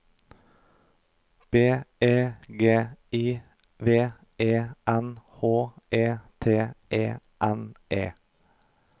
B E G I V E N H E T E N E